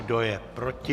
Kdo je proti?